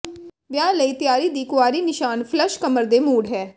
ਵਿਆਹ ਲਈ ਤਿਆਰੀ ਦੀ ਕੁਆਰੀ ਨਿਸ਼ਾਨ ਫ਼ਲੱਸ਼ ਕਮਰ ਦੇ ਮੂਡ ਹੈ